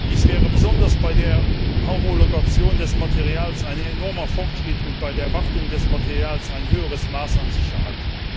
Dies wäre besonders bei der Homologation des Materials eine enormer Fortschritt und bei der Wartung des Materials ein höheres Maß an Sicherheit.